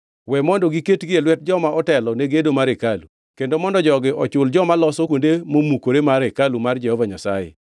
We mondo giketgi e lwet joma otelo ne gedo mar hekalu, kendo mondo jogi ochul joma loso kuonde momukore mar hekalu mar Jehova Nyasaye.